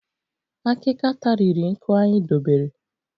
Akika tariri nkụ anyị dobere